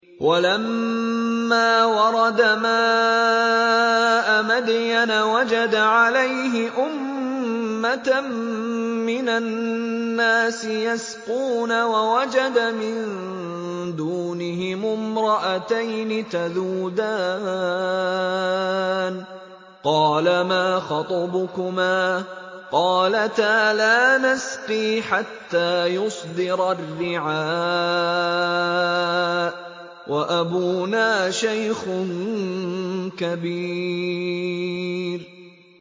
وَلَمَّا وَرَدَ مَاءَ مَدْيَنَ وَجَدَ عَلَيْهِ أُمَّةً مِّنَ النَّاسِ يَسْقُونَ وَوَجَدَ مِن دُونِهِمُ امْرَأَتَيْنِ تَذُودَانِ ۖ قَالَ مَا خَطْبُكُمَا ۖ قَالَتَا لَا نَسْقِي حَتَّىٰ يُصْدِرَ الرِّعَاءُ ۖ وَأَبُونَا شَيْخٌ كَبِيرٌ